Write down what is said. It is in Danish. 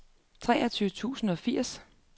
treogtyve tusind og firs